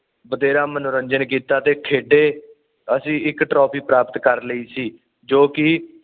ਬਥੇਰਾ ਮਨੋਰੰਜਨ ਕੀਤਾ ਤੇ ਖੇਡੇ ਅਸੀਂ ਇਕ ਟਰਾਫੀ ਪ੍ਰਾਪਤ ਕਰ ਲਈ ਸੀ ਜੋ ਕਿ